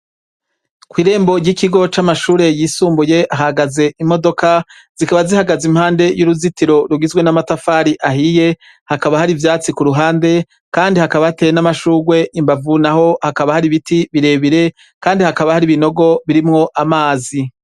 Ko'irembo ry'ikigo c'amashure yisumbuye ahagaze imodoka zikaba zihagaze impande y'uruzitiro rugizwe n'amatafari ahiye hakaba hari ivyatsi ku ruhande, kandi hakaba hateye n'amashurwe imbavu na ho hakaba hari ibiti birebire, kandi hakaba hari ibinogo birimwo amazi.